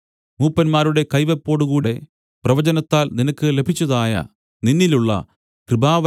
മൂപ്പന്മാരുടെ കൈവെപ്പോടുകൂടെ പ്രവചനത്താൽ നിനക്ക് ലഭിച്ചതായ നിന്നിലുള്ള കൃപാവരം